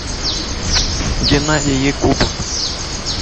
геннадий якубов